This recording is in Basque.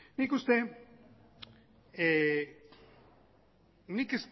nik uste nik